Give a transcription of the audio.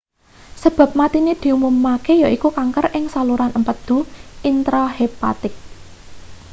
sebab matine diumumke yaiku kanker ing saluran empedu intrahepatik